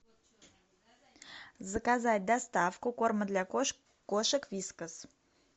заказать доставку корма для кошек вискас